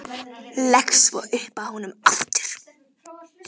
Leggst svo upp að honum aftur.